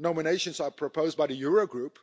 Nominations are proposed by the Eurogroup,